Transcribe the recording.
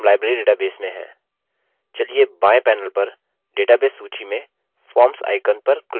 चलिए बाएँ panel पर database सूची में forms icon पर click करते हैं